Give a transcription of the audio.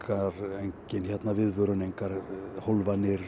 engin viðvörun engar